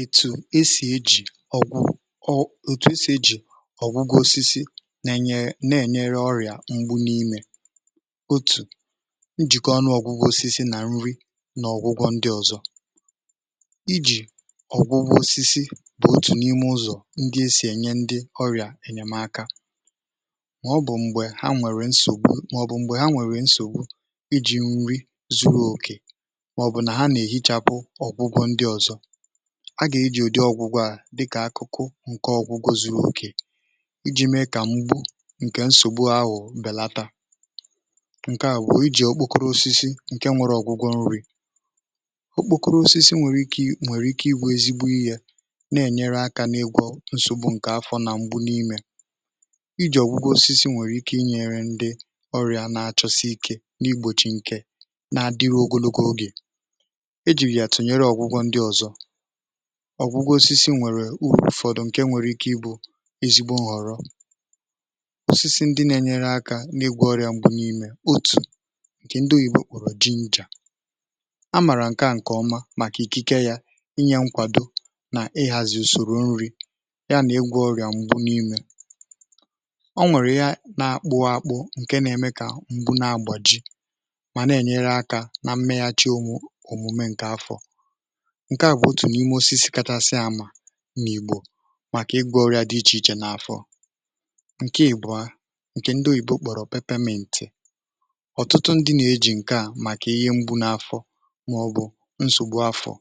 ètù esì ejì ọ̀gwụ ọ̀ etu esì ejì ọ̀gwụgwọ osisi um na-ènyere na-ènyere ọrịà m̀gbù n’imė otù njìkọ̀ ọnụ ọ̀gwụgwọ osisi na nri na ọ̀gwụgwọ ndị ọ̀zọ̀ ijì ọ̀gwụgwọ osisi bụ̀ otù n’ime ụzọ̀ ndị esì ènye ndị ọrịà ènyèmaka mọ̀bụ̀ m̀gbè ha nwèrè nsògbù mọ̀bụ̀ m̀gbù um ha nwèrè nsògbù ijì nri zuru òkè a gà-ejì ùdị ọgwụgwọ à dịkà akụkụ ǹke ọgwụgwọ zu̇ru̇ òkè iji̇ mee kà m̀gbù ǹkè nsògbu ahụ̀ bèlata ǹke àgwà ijì ọkpọkọrọ osisi ǹke nwere ọ̀gwụgwọ nri̇ ọkpọkọrọ osisi nwèrè ike ị gbụ̇ ezigbo yė na-enyere akȧ n’egwọ nsògbu ǹkè afọ̇ nà m̀gbu n’imė ijì ọgwụgwọ osisi nwèrè ike ị nyèrè ndị ọrịà na-achọsi ike n’igbòchi ǹkè na-adịru ogologo ogè ọ̀gwụgwọ osisi nwèrè ụ̀fọdụ ǹkè nwèrè ike ibụ̇ ezigbo nhọ̀rọ osisi ndị na-enyere akȧ n’igwȧ ọrịà m̀gbè n’imė otù ǹkè ndị oyìbo kpụ̀rụ̀ ginger um a màrà ǹkè a ǹkèọma màkà ikike yȧ inyė nkwàdo nà ịhàzị̀ ùsòrò nri ya nà-egwu ọrịà m̀gbè n’imė ọnwèrè ya na-akpụ ȧkpụ ǹkè na-eme kà m̀gbè na-agbà ji mà na-enyere akȧ na mmeghàchi ụmụ̀ ǹke à bụ̀ otù n’ime osisi kachasị àmà n’ìgbò màkà ịgwụ̇ ọrịà dị ichè ichè n’afọ̇ ǹke ìbụ̀a ǹkè ndị oyìba okpòrò pepemeentì ọ̀tụtụ ndị nà-eji ǹke à màkà ihe mgbu n’afọ̇ màọ̀bụ̀ nsògbu afọ̀